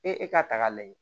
Ee e k'a ta k'a lajɛ